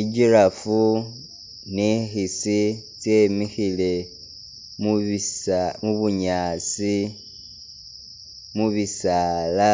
I'girraffe ni i'khisi tsyemikhile mubisa mubunyaasi, mu bisaala,